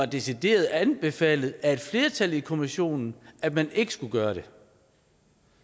decideret anbefalet af et flertal i kommissionen at man ikke skulle gøre det